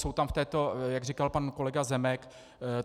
Jsou tam v této, jak říkal pan kolega Zemek.